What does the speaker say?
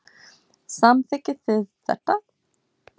Samþykkið þið þetta?